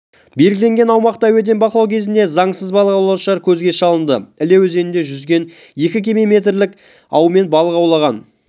белгілегнен аумақты әуеден бақылау кезінде заңсыз балық аулаушылар көзге шалынды іле өзенінде жүзген екі кеме метрлік аумен балық аулаған